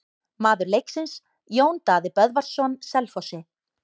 Maður leiksins: Jón Daði Böðvarsson Selfossi.